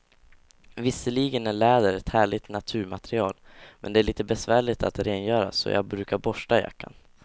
Visserligen är läder ett härligt naturmaterial, men det är lite besvärligt att rengöra, så jag brukar borsta jackan.